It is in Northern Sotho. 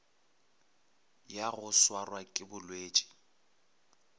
ya go swarwa ke bolwetši